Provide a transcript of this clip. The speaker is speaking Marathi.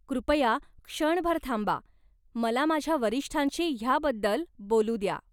कृपया क्षणभर थांबा. मला माझ्या वरिष्ठांशी ह्याबद्दल बोलू द्या.